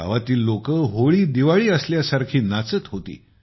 गावातील लोकं होळीदिवाळी असल्यासारखी नाचत होती